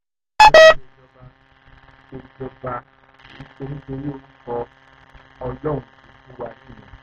ká fi ìlú ọgbọ́mọṣẹ́ síbi tó yẹ kó wà láfojúsùn wa